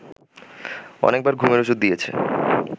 অনেকবার ঘুমের ওষুধ দিয়েছে